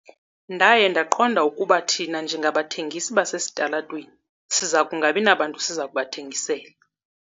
Ndaye ndaqonda ukuba thina njengabathengisi basesitalatweni siza kungabi nabantu siza kubathengisela.